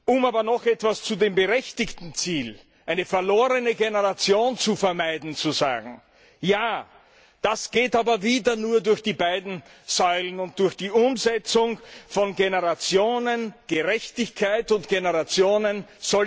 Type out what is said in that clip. Um aber noch etwas zu dem berechtigten Ziel, eine verlorene Generation zu vermeiden, zu sagen Ja, das geht aber wieder nur durch die beiden Säulen und durch die Umsetzung von Generationengerechtigkeit und Generationensolidarität.